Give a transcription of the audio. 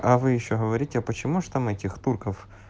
а вы ещё говорите почему же там этих турков